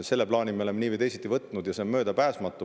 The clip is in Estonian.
Selle plaani me oleme nii või teisiti võtnud ja see on möödapääsmatu.